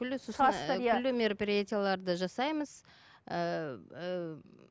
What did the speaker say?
күллі мероприятияларды жасаймыз ііі